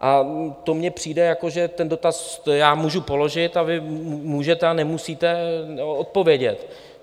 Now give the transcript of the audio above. A to mně přijde, jako že ten dotaz já můžu položit a vy můžete a nemusíte odpovědět.